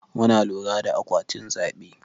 Muna lura da akwatin zaɓe.